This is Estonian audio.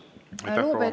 Aitäh!